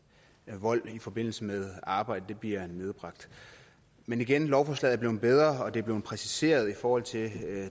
vold i forbindelse med arbejdet bliver nedbragt men igen lovforslaget er blevet bedre og det er blevet præciseret i forhold til